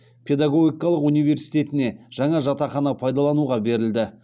педагогикалық университетіне жаңа жатақхана пайдалануға берілді